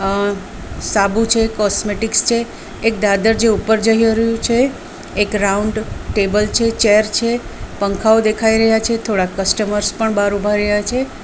અં સાબુ છે કોસ્મેટિક્સ છે એક દાદર જે ઉપર જઈ રહ્યું છે એક રાઉન્ડ ટેબલ છે ચેર છે પંખાઓ દેખાય રહ્યા છે થોડાક કસ્ટમર્સ પણ બાર ઉભા રહ્યા છે.